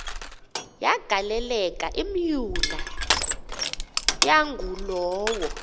yagaleleka imyula yangulowo